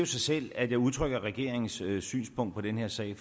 sig selv at jeg udtrykker regeringens synspunkt i den her sag